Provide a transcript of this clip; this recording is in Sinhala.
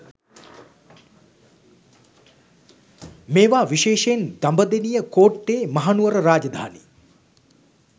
මේවා විශේෂයෙන් දඹදෙනිය කෝට්ටේ මහනුවර රාජධානී